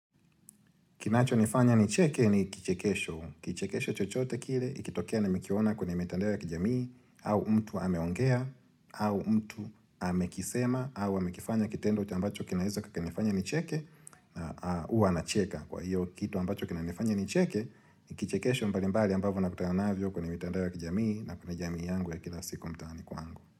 Kinacho nifanya nicheke ni kichekesho. Kichekesho chochote kile, ikitokea nimekiona kwenye mitandao ya kijamii, au mtu ameongea, au mtu amekisema, au amekifanya kitendo uti ambacho kinaweza kukanifanya nicheke, huwa nacheka. Kwa hiyo kitu ambacho kinanifanya nicheke, ni kichekesho mbalimbali ambavyo nakutana navyo kwenye mitandao ya kijamii, na kwenye jamii yangu ya kila siku mtaani kwangu.